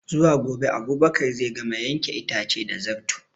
Zuwa gobe Abubakar zai gama yanke itace da Zarto